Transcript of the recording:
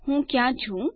હું ક્યા છું